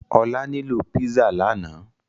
Olá nilo pizza lànà